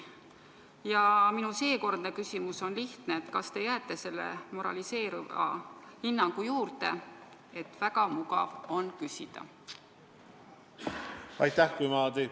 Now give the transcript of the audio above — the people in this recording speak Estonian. Ja minu seekordne küsimus on lihtne: kas te jääte selle moraliseeriva hinnangu juurde, et väga mugav on midagi sellist küsida?